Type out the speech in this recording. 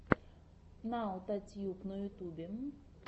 наотатьюб на ютьюбе